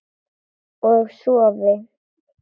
Og sofi.